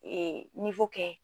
Ee niwo kɛ